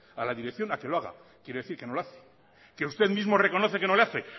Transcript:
a la dirección a que lo haga quiere decir que no lo hace que usted mismo reconoce que no lo hace